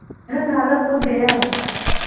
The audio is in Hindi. वह नाला कूद गया